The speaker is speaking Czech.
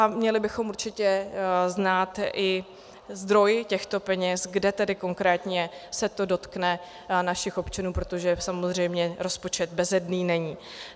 A měli bychom určitě znát i zdroj těchto peněz, kde tedy konkrétně se to dotkne našich občanů, protože samozřejmě rozpočet bezedný není.